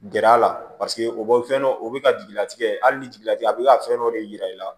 Gɛrɛ a la paseke o bɛ fɛn dɔ o bɛ ka jigilatigɛ hali ni jigila tigɛ a bɛ ka fɛn dɔ de yir'i la